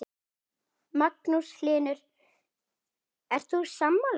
Magnús Hlynur: Ert þú sammála?